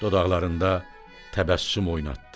Dodqlarında təbəssüm oynatdı.